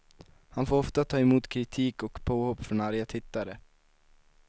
Han får ofta ta emot kritik och påhopp från arga tittare.